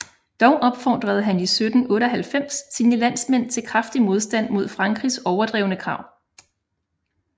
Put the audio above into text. Dog opfordrede han 1798 sine landsmænd til kraftig modstand mod Frankrigs overdrevne krav